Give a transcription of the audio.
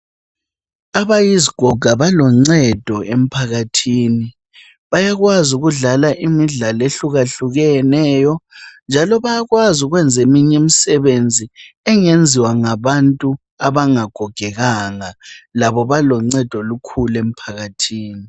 Abayizigoga baloncedo emphakathini, bayakwazi ukudlala imidlalo ehlukahlukeneyo njalo bayakwazi ukwenze eminye imisebenzi engenziwa ngabantu abangagogekanga. Labobaloncedo olukhulu emphakathini.